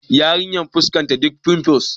Yarinyar fuskanta duk finfus